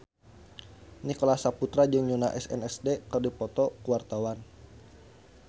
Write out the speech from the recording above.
Nicholas Saputra jeung Yoona SNSD keur dipoto ku wartawan